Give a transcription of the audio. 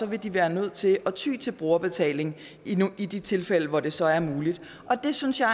vil de være nødt til at ty til brugerbetaling i de tilfælde hvor det så er muligt og det synes jeg